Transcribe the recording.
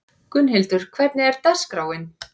Gunnhildur, hvernig er dagskráin?